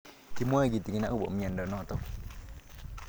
Kimwae kitig'in akopo miondo notok